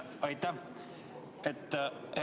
Aitäh!